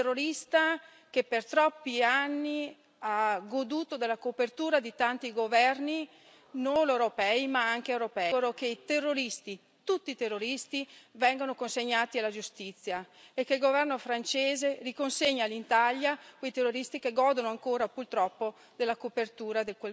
un terrorista che per troppi anni ha goduto della copertura di tanti governi, non solo europei. Mi auguro che i terroristi, tutti i terroristi, vengano consegnati alla giustizia e che il governo francese riconsegni all'Italia quei terroristi che godono ancora, purtroppo, della copertura di quel governo.